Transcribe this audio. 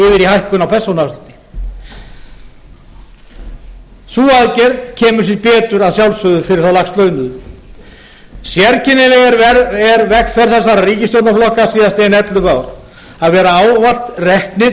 í hækkun á persónuafslætti sú aðgerð kemur sér betur að sjálfsögðu fyrir þá lægst launuðu sérkennileg er vegferð þessara ríkisstjórnarflokka síðastliðin ellefu ár að vera ávallt reknir